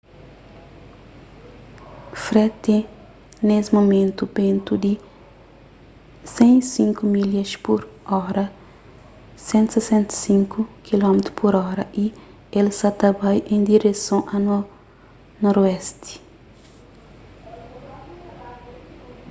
fred tene nes mumentu bentu di 105 milhas pur óra 165 km/h y el sa ta bai en direson a noroesti